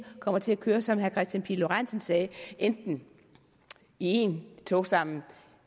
kommer til at køre som herre kristian pihl lorentzen sagde enten i en togstamme